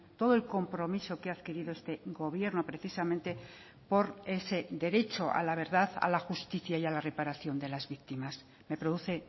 todo el compromiso que ha adquirido este gobierno precisamente por ese derecho a la verdad a la justicia y a la reparación de las víctimas me produce